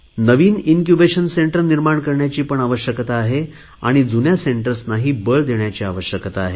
नवीन incubation centre निर्माण करण्याची पण आवश्यकता आहे आणि जुन्या सेंटर्सनाही बळ देण्याची आवश्यकता आहे